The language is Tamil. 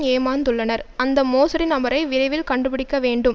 ஏமாந்துள்ளனர் அந்த மோசடி நபரை விரைவில் கண்டுபிடிக்கவேண்டும்